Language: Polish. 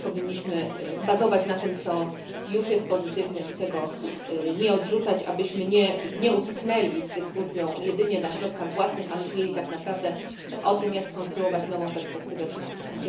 Powinniśmy bazować na tym, co już jest pozytywne i tego nie odrzucać, abyśmy nie utknęli z dyskusją jedynie na środkach własnych, a myśleli tak naprawdę o tym, jak skonstruować nową perspektywę finansową.